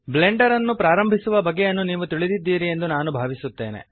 Blender ಅನ್ನು ಪ್ರಾರಂಭಿಸುವ ಬಗೆಯನ್ನು ನೀವು ತಿಳಿದಿದ್ದೀರಿ ಎಂದು ನಾನು ಭಾವಿಸುತ್ತೇನೆ